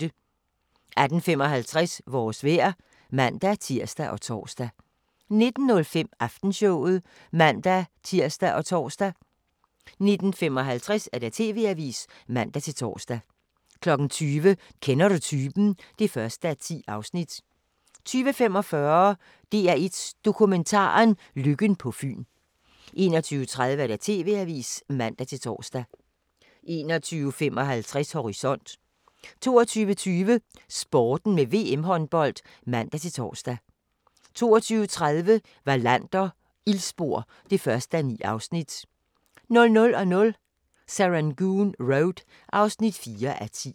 18:55: Vores vejr (man-tir og tor) 19:05: Aftenshowet (man-tir og tor) 19:55: TV-avisen (man-tor) 20:00: Kender du typen? (1:10) 20:45: DR1 Dokumentaren: Lykken på Fyn 21:30: TV-avisen (man-tor) 21:55: Horisont 22:20: Sporten med VM-håndbold (man-tor) 22:30: Wallander: Ildspor (1:9) 00:00: Serangoon Road (4:10)